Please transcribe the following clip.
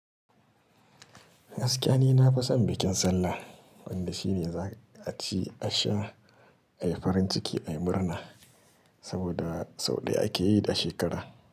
Gaskiya ni na fi son bikin sallah, wanda shine za a ci, a sha, a yi farin ciki, a yi murna saboda sau ɗaya ake yi da shekara.